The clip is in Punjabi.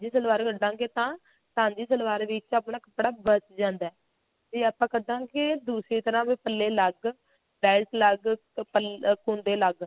ਸਾਂਝੀ ਸਲਵਾਰ ਕੱਢਾਂਗੇ ਤਾਂ ਸਾਂਝੀ ਸਲਵਾਰ ਵਿੱਚ ਆਪਣਾ ਕੱਪੜਾ ਬੱਚ ਜਾਂਦਾ ਜੇ ਆਪਾਂ ਕੱਢਾਂਗੇ ਦੂਜੀ ਤਰ੍ਹਾਂ ਵੀ ਪੱਲੇ ਅਲੱਗ ਬੇਲਟ ਅਲੱਗ ਤੇ ਅਹ ਕੁੰਡੇ ਅਲੱਗ